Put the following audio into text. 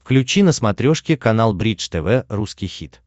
включи на смотрешке канал бридж тв русский хит